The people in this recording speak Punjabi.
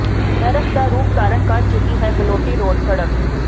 ਨਰਕ ਦਾ ਰੂਪ ਧਾਰਨ ਕਰ ਚੁੱਕੀ ਹੈ ਗਲੋਟੀ ਰੋਡ ਸੜਕ